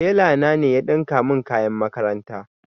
Tela na ne ya ɗinka min kayan makaranta